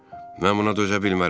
Mən buna dözə bilmərəm.